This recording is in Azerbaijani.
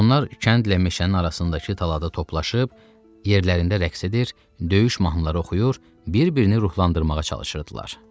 Onlar kəndlə meşənin arasındakı tələdə toplaşıb yerlərində rəqs edir, döyüş mahnıları oxuyur, bir-birini ruhlandırmağa çalışırdılar.